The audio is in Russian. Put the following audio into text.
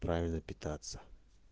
правильно питаться